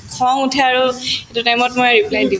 খং উঠে আৰু সেইটো time ত মই reply দিওঁ